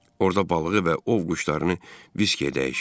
Orada balığı və ov quşlarını viskiyə dəyişirdi.